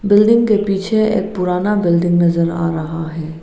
Building के पीछे एक पुराना बिल्डिंग नजर आ रहा है।